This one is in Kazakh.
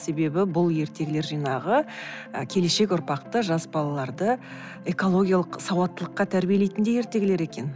себебі бұл ертегілер жинағы ы келешек ұрпақты жас балаларды экологиялық сауаттылыққа тәрбиелейтіндей ертегілер екен